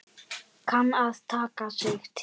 Kann að taka sig til.